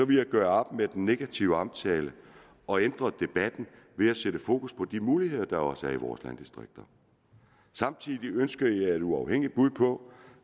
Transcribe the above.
jeg gøre op med den negative omtale og ændre debatten ved at sætte fokus på de muligheder der også er i vores landdistrikter samtidig ønskede jeg et uafhængigt bud på